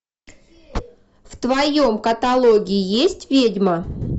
в твоем каталоге есть ведьма